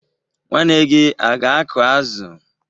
Nwanne gị aga-akụ azụ?